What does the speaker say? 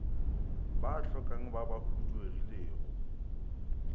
ba hlokang ba ba huduegilego